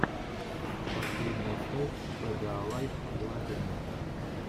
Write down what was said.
последняя часть пэдэалайф приложений